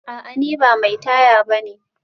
A'a ni ba mai taya bane